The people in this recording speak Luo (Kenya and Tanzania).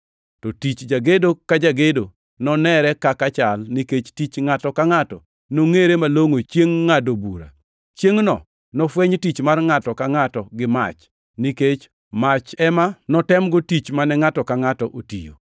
to tich jagedo ka jagedo nonenre kaka chal, nikech tich ngʼato nongʼere malongʼo Chiengʼ Ngʼado Bura. Chiengʼno, nofweny tich mar ngʼato ka ngʼato gi mach, nikech mach ema notemgo tich mane ngʼato ka ngʼato otiyo.